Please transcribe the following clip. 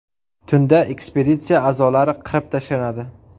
Tunda ekspeditsiya a’zolari qirib tashlanadi.